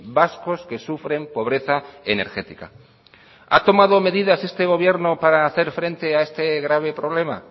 vascos que sufren pobreza energética ha tomado medidas este gobierno para hacer frente a este grave problema